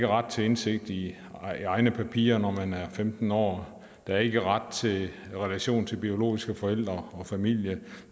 ret til indsigt i egne papirer når man er femten år at der ikke er ret til relation til biologiske forældre og familie at